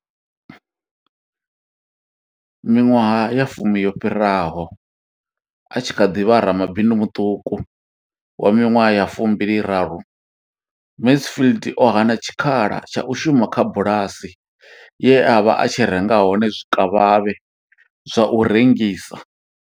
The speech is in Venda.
Miṅwaha ya fumi yo fhiraho, a tshi kha ḓi vha ramabindu muṱuku wa miṅwaha ya 23, Mansfield o hana tshikhala tsha u shuma kha bulasi ye a vha a tshi renga hone zwikavhavhe zwa u rengisa.